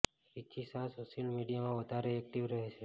Richie Shah social મીડિયામાં વધારે active રહે છે